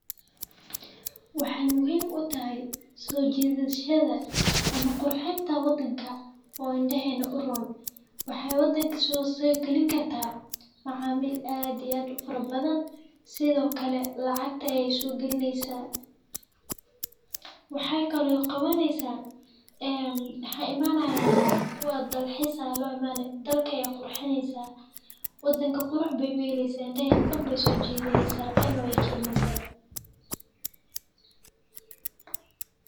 Waxay muhiim u tahay soo jiidashada ama qurxinta waddanka oo indhaheena urur. Waxay waddanka soo sii geli kartaa maxaamil aadi aad u furabadaan sidoo kale lacagta ee ay su'gelinaysa. Waxay kaloo qabanaysa eem xarimaanaya kuwa dalxiisa loo imanay dalka ee qurxineysa. Waddanka qurux beey weyleysa indhaheen dhan bay soo jiidiinaysa lacag noo ekeennisa.